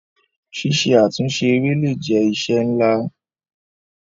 Ṣíṣe àtúnṣe eré le è jẹ́ iṣẹ́ ńlá.